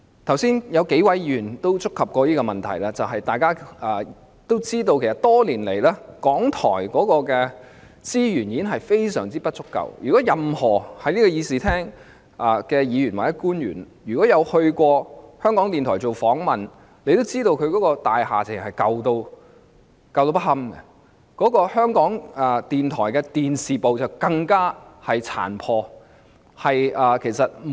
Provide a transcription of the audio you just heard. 剛才數位議員亦曾觸及這問題，大家也知道港台的資源多年來嚴重不足，正在議事廳的議員或官員如果曾到港台接受訪問，也會知道它的大廈殘舊不堪，而港台的電視部更是相當殘破。